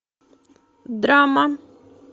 драма